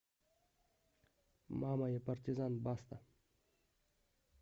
мама я партизан баста